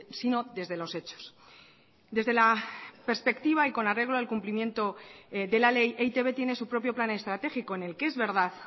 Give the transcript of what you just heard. sino desde los hechos desde la perspectiva y con arreglo al cumplimiento de la ley e i te be tiene su propio plan estratégico en el que es verdad